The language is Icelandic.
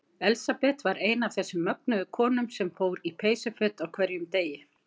Elsabet var ein af þessum mögnuðu konum sem fór í peysuföt á hverjum degi.